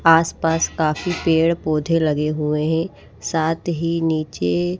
आसपास काफी पेड़ पौधे लगे हुए हैं। साथ ही नीचे--